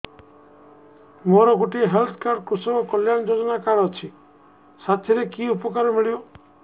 ମୋର ଗୋଟିଏ health card କୃଷକ କଲ୍ୟାଣ ଯୋଜନା କାର୍ଡ ଅଛି ସାଥିରେ କି ଉପକାର ମିଳିବ